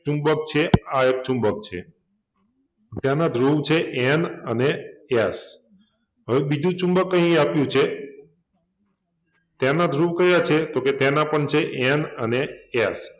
ચુંબક છે આ એક ચુંબક છે તેના ધ્રુવ છે N અને S હવે બીજુ ચુંબક અહિં આપ્યુ છે તેના ધ્રુવ કયા છે? તો કે તેના પણ છે N અને S